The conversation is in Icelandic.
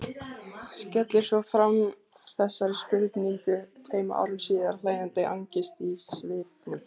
Skellir svo fram þessari spurningu tveim árum síðar, hlæjandi angist í svipnum.